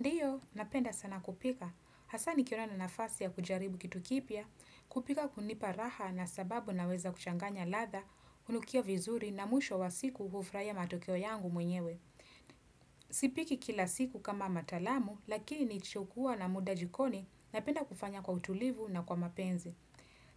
Ndiyo, napenda sana kupika. Hasa nikiona nina nafasi ya kujaribu kitu kipya, kupika kunipa raha na sababu na weza kuchanganya ladha, hunukia vizuri na mwisho wa siku hufuhia matokeo yangu mwenyewe. Sipiki kila siku kama matalamu, lakini chukua na muda jikoni, napenda kufanya kwa utulivu na kwa mapenzi.